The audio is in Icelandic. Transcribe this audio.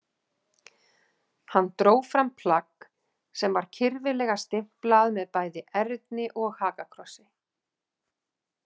Hann dró fram plagg sem var kyrfilega stimplað með bæði erni og hakakrossi.